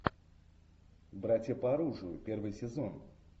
братья по оружию первый сезон